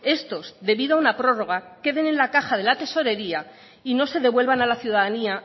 estos debido a una prórroga queden en la caja de la tesorería y no se devuelvan a la ciudadanía